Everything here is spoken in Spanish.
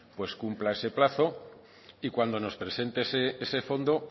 cumpla ese plazo y cuando nos presente ese fondo